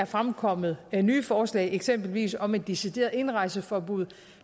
fremkommet nye forslag eksempelvis om et decideret indrejseforbud